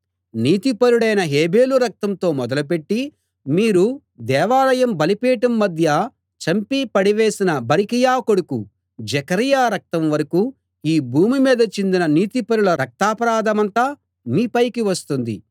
నీతిపరుడైన హేబెలు రక్తంతో మొదలుపెట్టి మీరు దేవాలయం బలిపీఠం మధ్య చంపి పడవేసిన బరకీయ కొడుకు జెకర్యా రక్తం వరకూ ఈ భూమి మీద చిందిన నీతిపరుల రక్తాపరాధమంతా మీ పైకి వస్తుంది